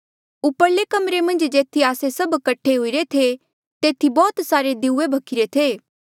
उपरले कमरे मन्झ जेथी आस्से सभ कठे हुईरे थे तेथी बौह्त सारे दिऊये भख्ही रे थे